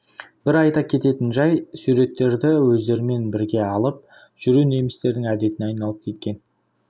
бір айта кететін жай суреттерді өздерімен бірге алып жүру немістердің әдетіне айналып кеткен